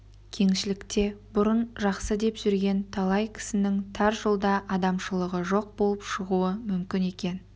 кеңшілікте бұрын жақсы деп жүрген талай кісінің тар жолда адамшылығы жоқ болып шығуы мүмкін екен